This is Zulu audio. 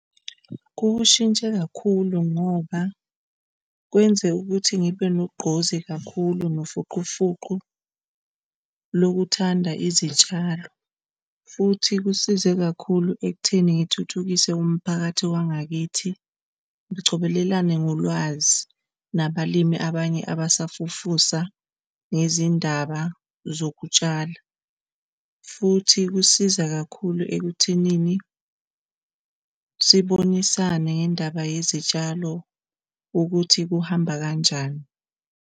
Kuwushintshe kakhulu ngoba kuyenzeka ukuthi ngibe nogqozi kakhulu nofuqufuqu lokuthanda izitshalo, futhi kusize kakhulu ekutheni ngithuthukise umphakathi wangakithi. Sicobelelane ngolwazi nabalimi abanye abasafufusa nezindaba zokutshala. Futhi kusiza kakhulu ekuthenini sibonisane ngendaba yezitshalo ukuthi kuhamba kanjani.